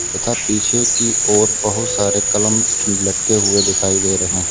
तथा पीछे की ओर बहोत सारे कलम लटके हुए दिखाई दे रहे हैं।